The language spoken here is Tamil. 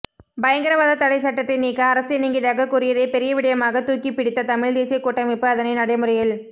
பயங்கரவாத தடைச்சட்டத்தை நீக்க அரசு இணங்கியதாக கூறியதை பெரிய விடயமாக தூக்கிப்பிடித்த தமிழ்தேசிய கூட்டமைப்பு அதனை நடைமுறையில்